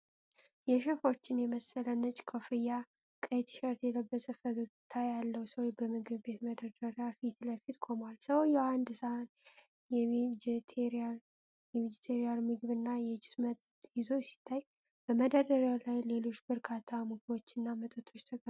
የሼፎችን የመሰለ ነጭ ኮፍያና ቀይ ቲሸርት የለበሰ ፈገግታ ያለው ሰው፣ በምግብ ቤት መደርደሪያ ፊት ለፊት ቆሟል። ሰውየው አንድ ሰሃን የቬጀቴሪያን ምግብና የጁስ መጠጥ ይዞ ሲታይ፣ በመደርደሪያው ላይ ሌሎች በርካታ ምግቦችና መጠጦች ተቀምጠዋል።